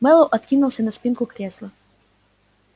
мэллоу откинулся на спинку кресла